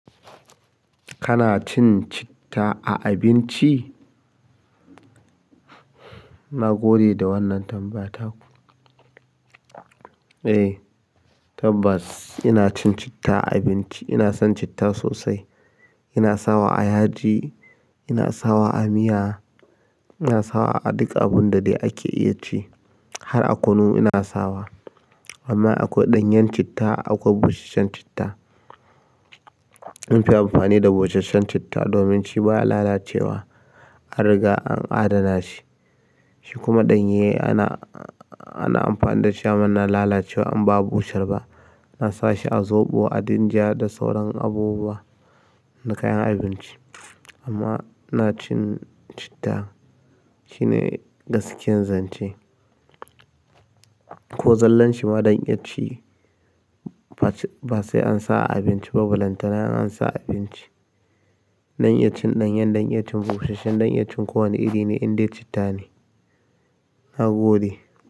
Kana cin citta a abinci? Na gode da wannan tambaya taku. Eh tabbas ina cin citta a abinci. Ina son citta sosai. Ina sawa a yaji, ina sawa a miya, ina sawa a duk abun da dai ake iya ci har a kunu ina sawa. Amma akwai ɗanyen citta akwai busasshen citta. Munfi amfani da busasshen citta domin shi baya lalacewa an riga an adana shi. Shi kuma ɗanye ana, ana amfani da shi amma na lalacewa in ba a bushar ba. ana sa shi a zoɓo, a dinja da sauran abubuwa na kayan abinci. Amma ina cin citta shine gaskiyar zance. Ko zallan shi ma dan iya ci ba se ba sai an sa a abinci ba. Bulantana in an sa a abinci. Dan iya cin ɗanyen dan iya cin busashshen dan iya cin kowane iri ne indai citta ne. Na gode.